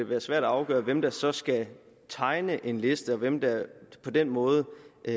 være svært at afgøre hvem der så skal tegne en liste og hvem der på den måde